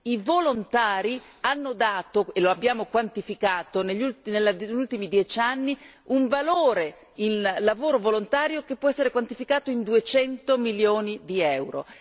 i volontari hanno dato e lo abbiamo quantificato negli ultimi dieci anni un valore in lavoro volontario che può essere quantificato in 200 milioni di euro.